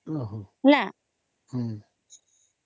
noise